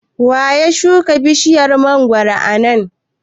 waya shuka bishiyar mangwaro a nan?